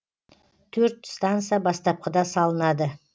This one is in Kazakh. төрт станса бастапқыда салынады